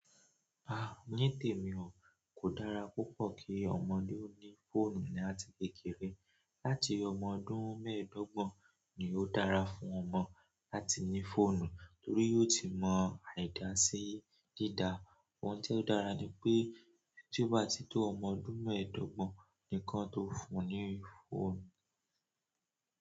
Ah, ní tèmi o kò dára púpọ̀ ki ọmọdé ó ní fóònù ni áti kékeré, láti ọmọ ọdún mẹ́ẹ̀dọ́gbọ̀n ni ó dára fún ọmọ láti ní fóònù torí yóò ti mọ àìdaa sí dídáa. Ohun ti o dára ni pe, ti o ba ti to ọmọ ọdún meedogbon ni ki won to fún ni fóònù.